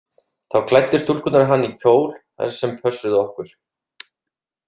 Þá klæddu stúlkurnar hann í kjól, þær sem pössuðu okkur.